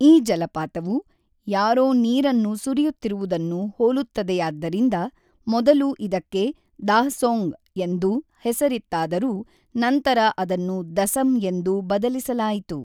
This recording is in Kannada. ಈ ಜಲಪಾತವು ಯಾರೋ ನೀರನ್ನು ಸುರಿಯುತ್ತಿರುವುದನ್ನು ಹೋಲುತ್ತದೆಯಾದ್ದರಿಂದ ಮೊದಲು ಇದಕ್ಕೆ ‘ದಾಃಸೋಙ್’ ಎಂದು ಹೆಸರಿತ್ತಾದರೂ ನಂತರ ಅದನ್ನು ದಸಮ್ ಎಂದು ಬದಲಿಸಲಾಯಿತು.